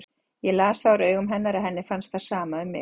Ég las það úr augum hennar að henni fannst það sama um mig.